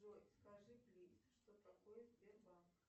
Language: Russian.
джой скажи плиз что такое сбербанк